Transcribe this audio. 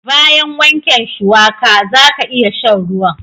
Bayan wanken shuwaka, zaka iya sha'n ruwan.